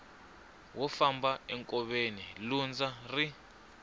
wo famba enkoveni lundza ri